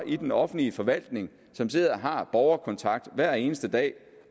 i den offentlige forvaltning som sidder og har borgerkontakt hver eneste dag